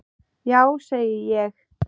Já, segi ég.